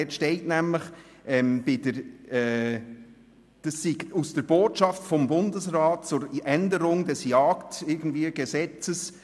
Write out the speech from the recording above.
Dort steht nämlich, dies sei aus der «[…] Botschaft des Bundesrat[e]s zur Änderung des JGS […], S. 6097